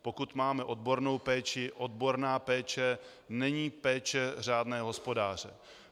Pokud máme odbornou péči, odborná péče není péče řádného hospodáře.